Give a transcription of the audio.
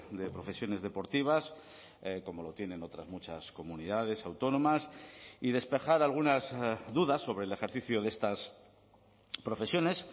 de profesiones deportivas como lo tienen otras muchas comunidades autónomas y despejar algunas dudas sobre el ejercicio de estas profesiones